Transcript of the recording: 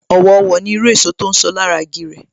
Owo Owo ni irú èso tí ń so lára lára igi rẹ̀